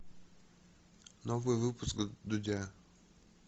новый выпуск дудя